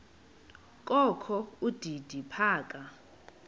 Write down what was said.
kokho udidi phaka